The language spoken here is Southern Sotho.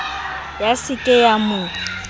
ya se ke ya mo